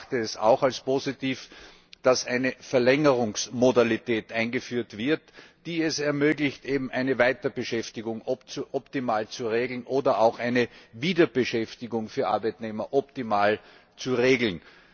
Und ich erachte es auch als positiv, dass eine Verlängerungsmodalität eingeführt wird, die es ermöglicht, eine Weiterbeschäftigung optimal zu regeln oder auch eine Wiederbeschäftigung für Arbeitnehmer optimal zu regeln.